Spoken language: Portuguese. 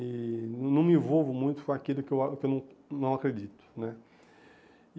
E não me envolvo muito com aquilo que eu ah que eu não não acredito né.